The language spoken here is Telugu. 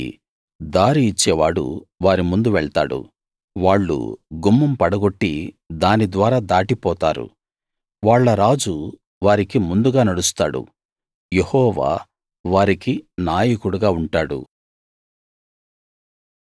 వారికి దారి ఇచ్చేవాడు వారి ముందు వెళ్తాడు వాళ్ళు గుమ్మం పడగొట్టి దాని ద్వారా దాటిపోతారు వాళ్ళ రాజు వారికి ముందుగా నడుస్తాడు యెహోవా వారికి నాయకుడుగా ఉంటాడు